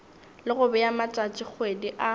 le go bea matšatšikgwedi a